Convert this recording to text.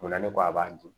O la ne ko a b'a dun